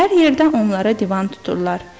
Hər yerdə onlara divan tuturlar.